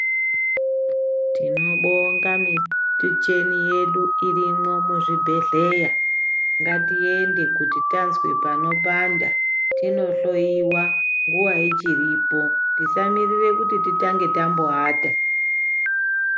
Tinobonga michini yedu irimo muzvibhedhleya ngatiende kuti tanzwe panopanda tinohloyiwa nguwa ichiripo tisamirire kuti titange tamboata.